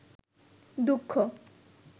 দুঃখ